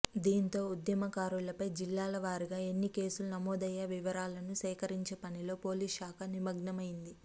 దీంతో ఉద్యమకారులపై జిల్లాల వారీగా ఎన్ని కేసులు నమోదయ్యాయనే వివరాలను సేకరించే పనిలో పోలీసు శాఖ నిమగ్నమైంది